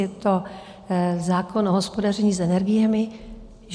Je to zákon o hospodaření s energiemi.